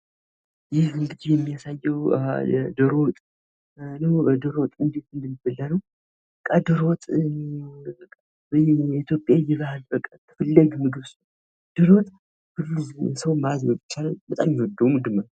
ይህ የሚያሳየው ዶሮ ወጥ ዶሮ ወጥ እንዴት እንደሚበላ ነው። በቃ ዶሮ ወጥ የኢትዮጵያ የባህል በቃ ዶሮ ወጥ ሰው በጣም የሚወደው ምግብ ነው።